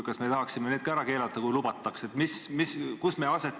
Kas me tahaksime need ka ära keelata, kui lubataks?